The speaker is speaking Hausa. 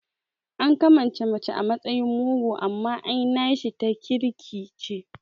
An kamanta mace a matsayin mugo amma ainashi ta kirki ce